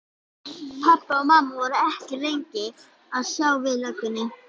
Pabbi og mamma voru ekki lengi að sjá við löggunni.